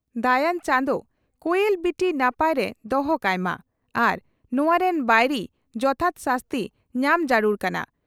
ᱫᱟᱭᱟᱱ ᱪᱟᱸᱫᱚ ᱠᱚᱭᱮᱞ ᱵᱤᱴᱤ ᱱᱟᱯᱟᱭᱨᱮ ᱫᱚᱦᱚ ᱠᱟᱭ ᱢᱟ ᱟᱨ ᱱᱚᱣᱟ ᱨᱮᱱ ᱵᱟᱹᱭᱨᱤ ᱡᱚᱛᱷᱟᱛ ᱥᱟᱹᱥᱛᱤ ᱧᱟᱢ ᱡᱟᱹᱨᱩᱲ ᱠᱟᱱᱟ ᱾